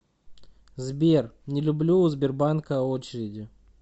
сбер не люблю у сбербанка очереди